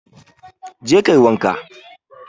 Go and bath